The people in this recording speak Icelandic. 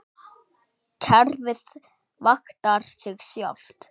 Kerfið vaktar sig sjálft.